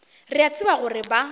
re a tseba gore ba